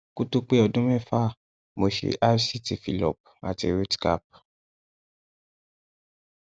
kó tó pé ọdún mẹfà mo ṣe rct fillup ati rootcap